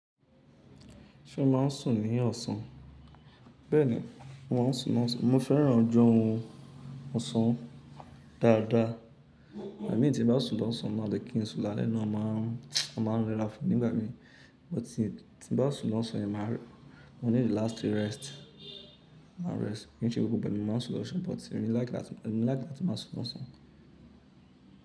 Ṣé o máa ń sùn ní ọ̀sán? Bẹ́ẹ̀ni, mo máa ń sùn ní ọ̀sán. Mo fẹ́ràn ọju orun ọ̀sán dáadáa. Ígbami tí n bá sùn lọ́ṣán ó máa le kí n sùn làlẹ́ ó máa ń rẹrá fún mi nígbà mí. But tí n bá sùn l'ọ́ṣán yẹn máa rí, mo ní the láti rest, máa rest. Kìí ṣe gbogbo ìgbà ni mo máa ń sùn lọ́ṣán but èmi like láti. Èmi like àti máa sùn lọ́sàn.